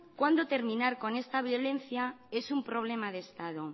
cuando terminar con esta violencia es un problema de estado